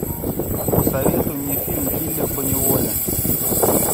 посоветуй мне фильм киллер по неволе